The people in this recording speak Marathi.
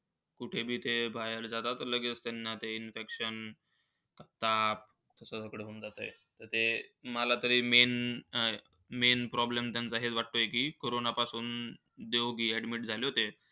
कुठे बी थे बाहेर जातात, ते लगेच त्यांना ते infection. ताप असं वगैरे होऊन जातं. तर ते मला तरी MAIN main problem त्यांचा हेच वाटतोय की कोरोना पासून देवगि admit झाले होते.